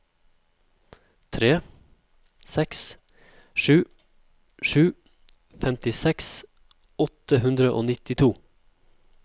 tre seks sju sju femtiseks åtte hundre og nittito